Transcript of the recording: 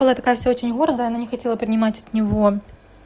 мол я такая вся очень гордая она не хотела принимать от него